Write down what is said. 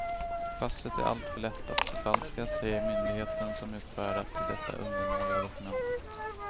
Passet är alltför lätt att förfalska, säger myndigheten som utfärdat detta undermåliga dokument.